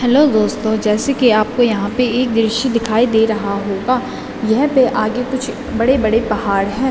Hello दोस्तों जैसे कि आपको यहाँ पे एक द्रिश्य दिखाई दे रहा होगा यहाँ पे आगे कुछ बड़े-बड़े पहाड़ हैं।